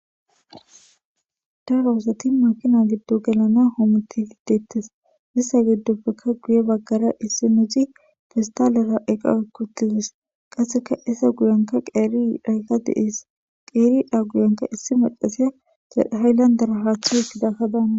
da rawossati makina giddo gelana homuti hiidettes issa giddoppeka guye baggara issi meci fistalera eqa ekkutiwes qasseka isa guyanka qeeri dhayqa de7ees qeeri dha guyanka issi macasiya hayllandara haatha hitidaka daana